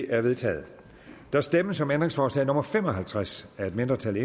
er vedtaget der stemmes om ændringsforslag nummer fem og halvtreds af et mindretal